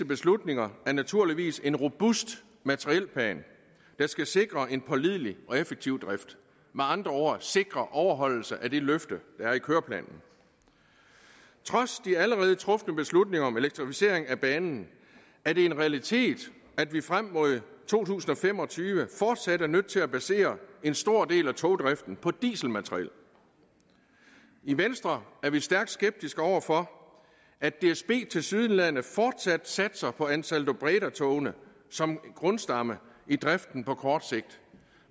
beslutninger er naturligvis en robust materielplan der skal sikre en pålidelig og effektiv drift med andre ord sikre overholdelse af det løfte der er afgivet i køreplanen trods de allerede trufne beslutninger om elektrificering af banen er det en realitet at vi frem mod to tusind og fem og tyve fortsat er nødt til at basere en stor del af togdriften på dieselmateriel i venstre er vi stærkt skeptiske over for at dsb tilsyneladende fortsat satser på ansaldobredatogene som grundstamme i driften på kort sigt